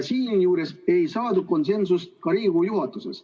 Siinjuures ei saadud konsensust ka Riigikogu juhatuses.